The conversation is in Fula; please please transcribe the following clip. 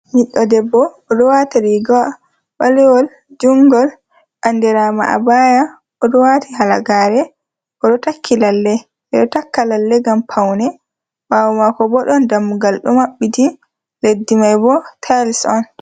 Ɓiɗɗo debbo oɗo waata rigawa ɓalewol, junngol andirama abaya. Oɗo waati halagaare, oɗo takki lalle, ɓe ɗo takka lalle ngam paune. Ɓaawo maako bo ɗon dammugal ɗo maɓɓiti, leddi mai bo tayls on.